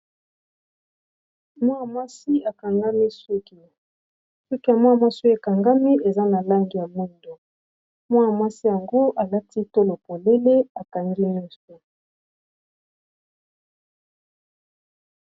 suki ya mwana mwasi ekangami eza na langi ya moindo. mwana mwasi yango alaki tolo polele na suki ya molai.